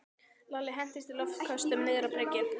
Lalli hentist í loftköstum niður á bryggju.